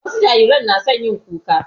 Wasu jarirai na son yin kuka.